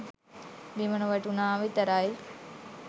බිම නොවැටුණා විතරයි.